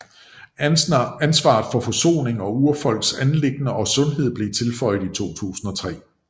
Ansvaret for Forsoning og Urfolks anliggender og sundhed blev tilføjet i 2003